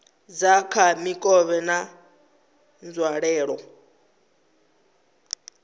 dza kha mikovhe na nzwalelo